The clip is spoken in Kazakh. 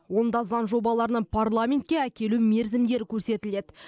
онда заң жобаларының парламентке әкелу мерзімдері көрсетіледі